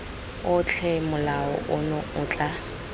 otlhe molao ono o tla